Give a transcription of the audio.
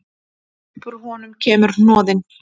Upp úr honum kemur hnoðinn.